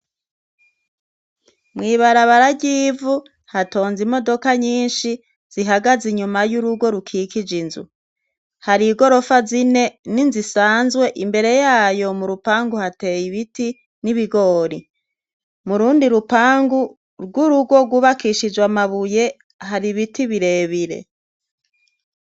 Mwibarabara ryivu hatonze imodoka nyinshi zihagaze inyuma y'urugo rukikije inzu hari i gorofa zine ni nzisanzwe imbere yayo mu rupangu hateye ibiti n'ibigori mu rundi rupangu rw'urugo gubakishije amabuye hari ibiti birebire.